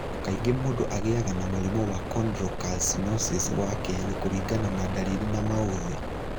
Kaingĩ mũndũ agĩaga na mũrimũ wa chondrocalcinosis wa kerĩ kũringana na ndariri na mauthĩ